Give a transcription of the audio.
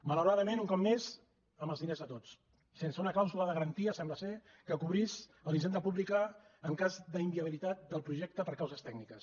malauradament un cop més amb els diners de tots sense una clàusula de garantia sembla que cobrís la hisenda pública en cas d’inviabilitat del projecte per causes tècniques